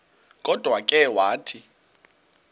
kodwa ke wathi